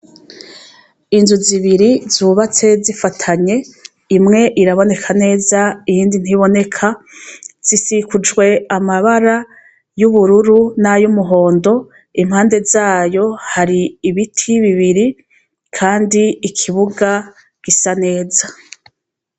Inzu zibiri zubatse zifatanye, imwe iraboneka neza, iyindi ntiboneka zisikujwe amabara y'ubururu n'ayo umuhondo, impande zayo hari ibiti bibiri, kandi ikibuga gisa neza.